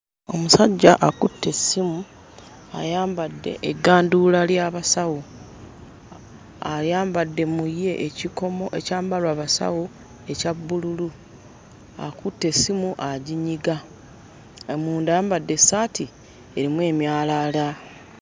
Omusajja akutte essimu ayambadde egganduula ly'abasawo, ayambadde mu ye ekikomo ekyambalwa abasawo ekya bbululu . Akutte essimu aginyiga, munda ayambadde essaati erimu emyalaala.